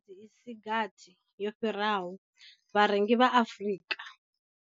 I si gathi yo fhiraho, vharengi vha Afrika.